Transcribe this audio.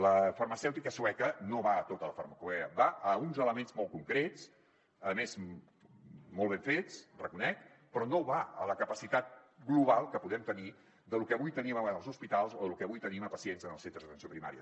la farmacèutica sueca no va a tota la farmacopea va a uns elements molt concrets a més molt ben fets ho reconec però no va a la capacitat global que podem tenir de lo que avui tenim en els hospitals o de lo que avui tenim a pacients en els centres d’atenció primària